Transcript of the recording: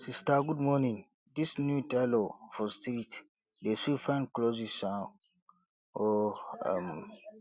sista good morning dis new tailor for street dey sew fine clothes um o um